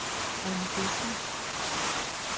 Ronnie Dencker